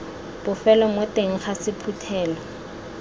bofelo mo teng ga sephuthelo